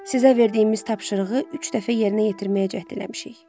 Sizə verdiyimiz tapşırığı üç dəfə yerinə yetirməyə cəhd eləmişik.